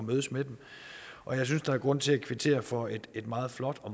mødes med dem og jeg synes der er grund til at kvittere for et meget flot og